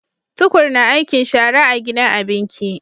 Tukur na aikin shara a gidan abinki